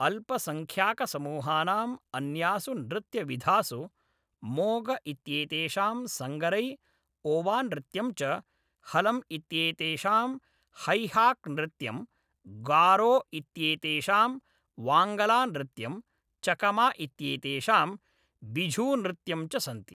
अल्पसङ्ख्याकसमूहानाम् अन्यासु नृत्यविधासु, मोग इत्येतेषां संगरै, ओवानृत्यं च, हलम् इत्येतेषां हैहाक्नृत्यं, गारो इत्येतेषां वाङ्गलानृत्यं, चकमा इत्येतेषां बिझूनृत्यं च सन्ति।